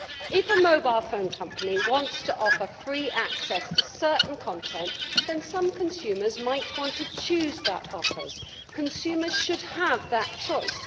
If a mobile phone company wants to offer free access to certain content, some consumers might want to choose that offer consumers should have that choice.